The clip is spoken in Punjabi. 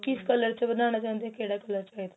ਕਿਸ color ਚ ਬਣਾਨਾ ਚਾਉਂਦੇ ਏ ਕਿਹੜਾ color